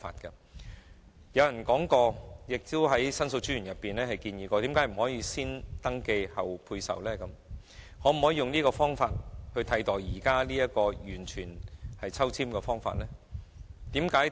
有人提出而申訴專員亦曾建議採用先登記，後配售的方法，並以此取代現時的抽籤方法。